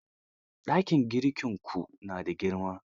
Dakin girkinku na da girma?